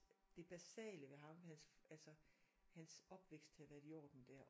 Det basale ved ham hans altså hans opvækst havde været i orden dér